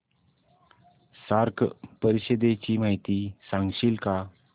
SAARC परिषदेची माहिती सांगशील का